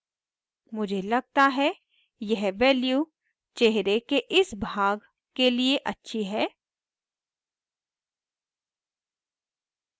मुझे लगता है यह value चेहरे के इस भाग के लिए अच्छी है